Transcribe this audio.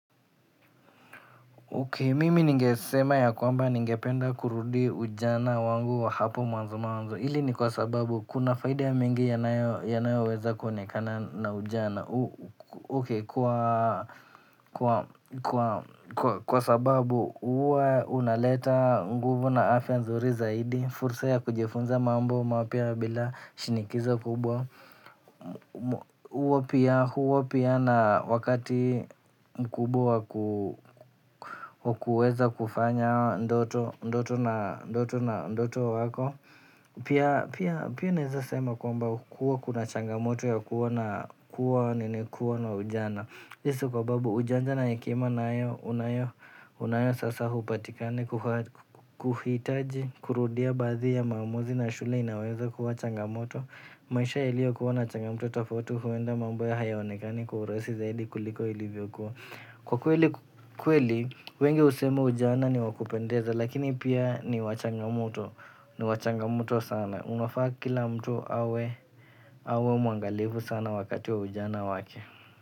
Mimi ningesema ya kwamba ningependa kurudi ujana wangu wa hapo mwanzo mwanzo hili ni kwa sababu kuna faida ya mingi inayoweza kuonekana na ujana, kwa sababu huwa unaleta nguvu na afya nzuri zaidi fursa ya kujifunza mambo mapya bila shinikizo kubwa huwa pia na wakati mkubwa wa kuweza kufanya ndoto zako pia naweza sema kwamba huwa kuna changamoto ya kuwa na ujana hii sio kwa sababu ujanja na hekima nayo unayo sasa hupatikani kuhitaji, kurudia baadhi ya maamuzi na shule inaweza kuwa changamoto maisha yaliyokuwa na changamoto tofauti huenda mambo hayaonekani kwa urahisi zaidi kuliko ilivyokuwa. Kwa kweli wengi husema ujana ni wa kupendeza lakini pia ni wa changamoto sana unafaa kila mtu hawe mwangalifu sana wakati wa ujana wake.